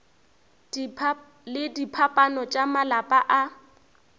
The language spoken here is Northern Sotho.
le diphapano tša malapa a